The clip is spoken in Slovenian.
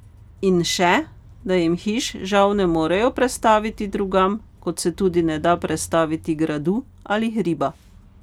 In še, da jim hiš žal ne morejo prestaviti drugam, kot se tudi ne da prestaviti gradu ali hriba.